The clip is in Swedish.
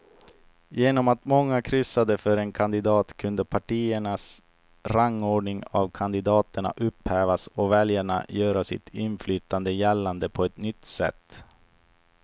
Genom att många kryssade för en kandidat kunde partiernas rangordning av kandidaterna upphävas och väljarna göra sitt inflytande gällande på ett nytt sätt.